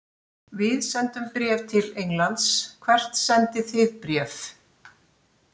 Við sendum bréf til Englands. Hvert sendið þið bréf?